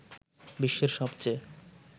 বিশ্বের সবচেয়ে